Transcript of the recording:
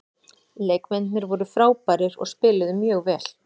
Leikmennirnir voru frábærir og spiluðu mjög vel.